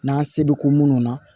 N'an se bɛ ko munnu na